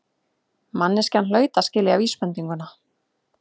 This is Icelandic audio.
Manneskjan hlaut að skilja vísbendinguna.